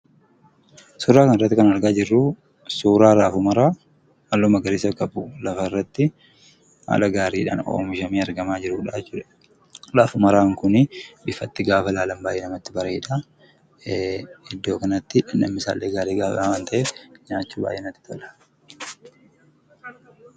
Suuraa kanarratti kan argaa jirru suuraa raafuu maraa halluu magariisa qabu, lafarratti haala gaariidhaan oomishamee argamaa jirudha jechuudha. Raafuu maraan kun ifatti gaafa ilaalan baay'ee namatti bareeda. Iddoo kanatti dhamdhamni isaallee baay'ee gaariidha waan ta’eef nyaachuun natti tola.